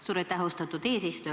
Suur aitäh, austatud eesistuja!